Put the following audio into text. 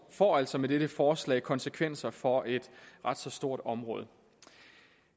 får altså med dette forslag konsekvenser for et ret så stort område